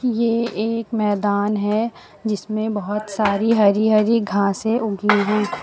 ये एक मैदान है जिसमें बोहोत सारी हरी-हरी घासें उगी हुई --